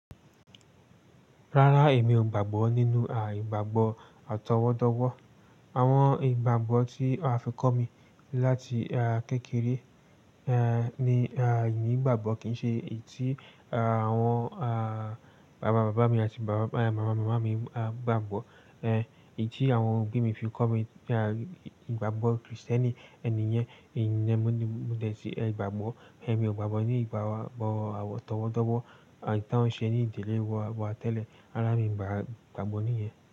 Rárá, èmi ò gbàgbọ́ nínú àìgbàgbọ́ atọwọ́dọ́wọ́. Àwọn ìgbàgbọ́ tí a fi kọ́ mi láti kékeré ni àìní ìgbàgbọ́ kì í ṣe èyí tí àwọn bàbá bàbá mi àti bàbá màmá màmá mi gbàgbọ́. Èyí tí àwọn òbí mi fi kọ́ mi pé ìgbàgbọ́ Krìstẹ́nì ẹni yẹn nìyẹn mo ní mo dẹ̀ sí ìgbàgbọ́. Ẹ̀mi ò gbàgbọ́ ní ìgbàgbọ́ àwọ̀ tọwọ́dọ́wọ́ àti tánṣẹ́ ní ìdílé wọn wọ́n tẹ́lẹ̀. Rárá, mi ò gbàgbọ́ ní ìyẹn.